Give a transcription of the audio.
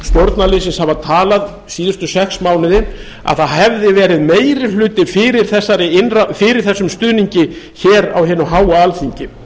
stjórnarliðsins hafa talað síðustu sex mánuði að það hefði verið meiri hluti fyrir þessum stuðningi á hinu háa alþingi